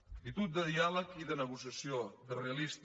actitud de diàleg i de negociació realista